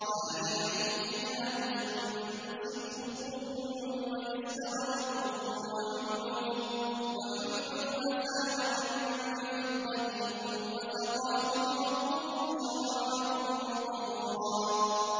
عَالِيَهُمْ ثِيَابُ سُندُسٍ خُضْرٌ وَإِسْتَبْرَقٌ ۖ وَحُلُّوا أَسَاوِرَ مِن فِضَّةٍ وَسَقَاهُمْ رَبُّهُمْ شَرَابًا طَهُورًا